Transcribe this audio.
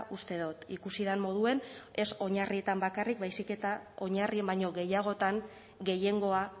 uste dut ikusi den moduan ez oinarrietan bakarrik baizik eta oinarrien baino gehiagotan gehiengoa